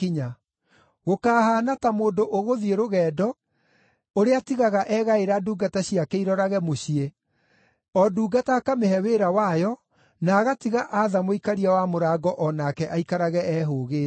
Gũkahaana ta mũndũ ũgũthiĩ rũgendo ũrĩa atigaga egaĩra ndungata ciake irorage mũciĩ, o ndungata akamĩhe wĩra wayo, na agatiga atha mũikaria wa mũrango o nake aikarage ehũũgĩte.